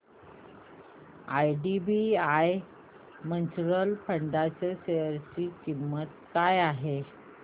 IDBI mutual fund च्या share ची किंमत काय आहे